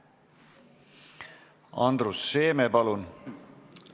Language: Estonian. Andrus Seeme, palun!